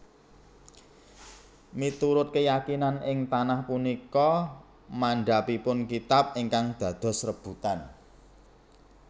Miturut keyakinan ing tanah punika mandhapipun kitab ingkang dados rebutan